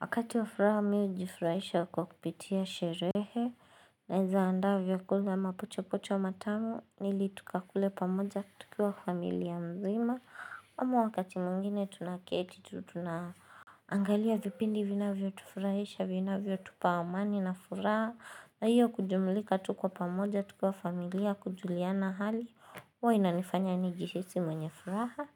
Wakati wa furaha mimi hujifurahisha ku kupitia sherehe naweza andaa vyakula mapochopocho matamu ili tukakule pamoja tukiwa familia mzima ama wakati mwingine tunaketi tu tuna Angalia vipindi vinavyotufurahisha vinavyotupa amani na furaha na hiyo kujumulika tuko pamoja tukiwa familia kujuliana hali huwa inanifanya nijihisi mwenye furaha